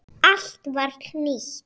Allt var nýtt.